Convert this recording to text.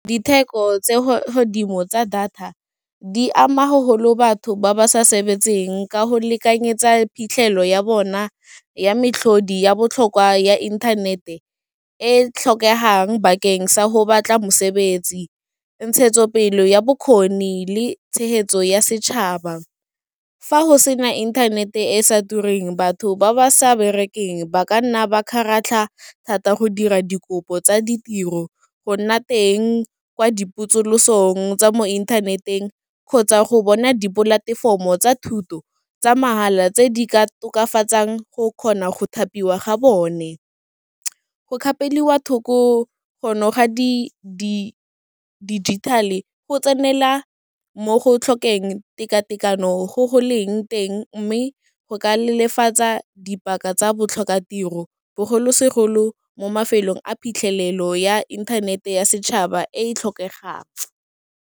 Ditheko tsa godimo tsa data, di ama ga golo batho ba ba sa sebetseng ka go lekanyetsa phitlhelelo ya bona ya moatlhodi ya botlhokwa ya internet-e, e tlhokegang bakeng sa go batla mosebetsi, ntshetso pele ya bokgoni le tshegetso ya setšhaba, fa go sena internet-e e sa tureng batho ba ba sa berekeng, ba ka nna ba kgaratlha thata, go dira dikopo tsa ditiro go nna teng kwa dipotsolosong tsa mo inthaneteng kgotsa go bona dipolatefomo tsa thuto, tsa mahala, tse di ka tokafatsang go kgona go thapiwa ga bone. Go kgapeliwa thoko go noga digital-e, go tsenela mo go tlhokeng tekatekano go go leng teng mme go ka le lefatsa ka dipaka tsa botlhokatiro bogolosegolo mo mafelong a phitlhelelo ya internet-e ya setšhaba e e tlhokegang.